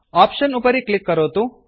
option उपरि click करोतु